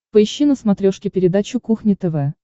поищи на смотрешке передачу кухня тв